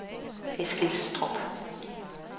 Eskilstrup